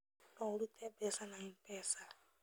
No ũrute mbeca na MPESA